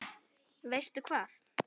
Veistu hvað?